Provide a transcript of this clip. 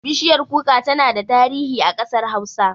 Bishiyar kuka tana da tarihi a ƙasar hausa